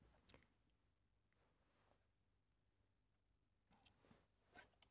DR2